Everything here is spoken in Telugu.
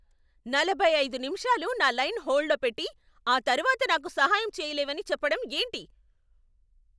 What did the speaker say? నలభై ఐదు నిమిషాలు నా లైన్ హోల్డ్లో పెట్టి, ఆ తర్వాత నాకు సహాయం చేయలేవని చెప్పడం ఏంటి?